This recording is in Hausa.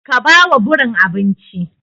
Ka ba wa birin abinci!